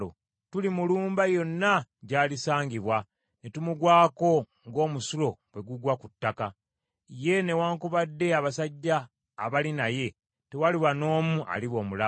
Tulimulumba yonna gy’alisangibwa, ne tumugwako ng’omusulo bwe gugwa ku ttaka. Ye newaakubadde abasajja abali naye, tewaliba n’omu aliba omulamu.